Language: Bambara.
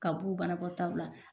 Ka b'u banakɔ taw.